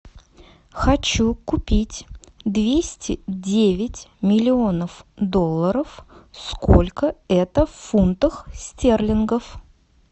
хочу купить двести девять миллионов долларов сколько это в фунтах стерлингов